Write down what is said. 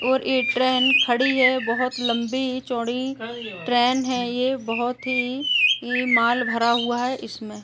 और ये ट्रेन खड़ी है बहोत लंबी चौड़ी ट्रेन है ये बहुत ही ई माल भरा हुआ है इसमें।